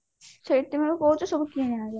ସେଇଥିପାଇଁ କହୁଛି ସବୁ କିଣି ଆଣିବା